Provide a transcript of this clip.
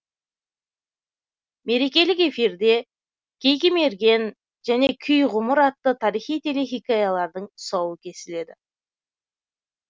мерекелік эфирде кейкі мерген және күй ғұмыр атты тарихи телехикаялардың тұсауы кесіледі